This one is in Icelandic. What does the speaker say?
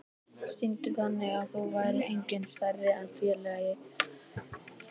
Sýndi þannig að það væri enginn stærri en félagið.